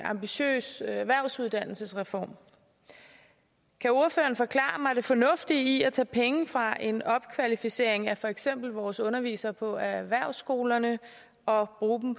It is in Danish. ambitiøs erhvervsuddannelsesreform kan ordføreren forklare mig det fornuftige i at tage penge fra en opkvalificering af for eksempel vores undervisere på erhvervsskolerne og bruge dem